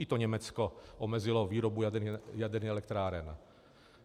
I to Německo omezilo výrobu jaderných elektráren.